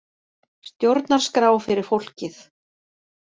Stjórnarskrá fyrir fólkið